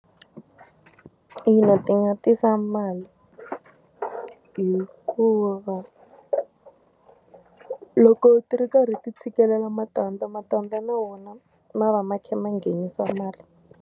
Ina ti nga tisa mali. Hikuva, loko ti ri karhi ti tshikela matandza, matandza na wona ma va ma kha ma nghenisa mali.